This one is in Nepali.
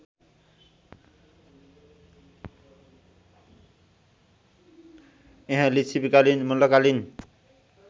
यहाँ लिच्छविकालीन मल्लकालीन